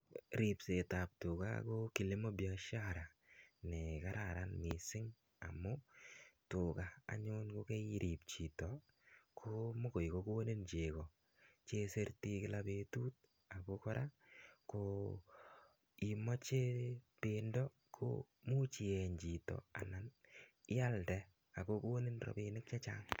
rioset ab tuga ko ki nebo biashara ne kararan missing amu tuga yekoirib chito ko much kokonin cheko che isirtoi kila betut ako kora imache bendo ko much ieny chito anan ialde ako konin robinik chechang